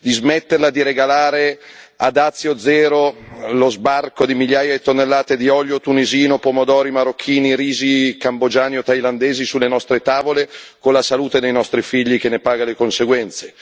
di smetterla di regalare a dazio zero lo sbarco di migliaia di tonnellate di olio tunisino, pomodori marocchini, riso cambogiano o thailandese sulle nostre tavole, con la salute dei nostri figli che ne paga le conseguenze